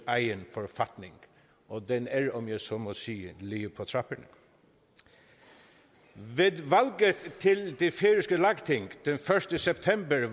egen forfatning og den er om jeg så må sige lige på trapperne ved valget til det færøske lagting den første september vandt